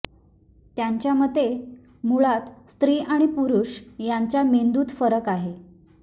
त्यांच्या मते मुळात स्त्री आणि पुरुष यांच्या मेंदूत फरक आहे